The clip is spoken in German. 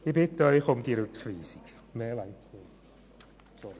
Ich bitte Sie, diese Rückweisungen vorzunehmen.